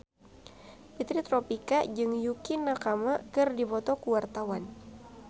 Fitri Tropika jeung Yukie Nakama keur dipoto ku wartawan